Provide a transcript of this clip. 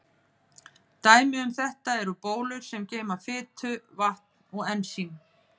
Dæmi um þetta eru bólur sem geyma fitu, vatn eða ensím.